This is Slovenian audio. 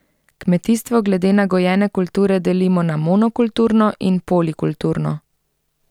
Kmetijstvo glede na gojene kulture delimo na monokulturno in polikulturno.